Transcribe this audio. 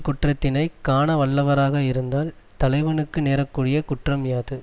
குற்றத்தினை காணவல்லவராக இருந்தால் தலைவனுக்கு நேரக்கூடிய குற்றம் யாது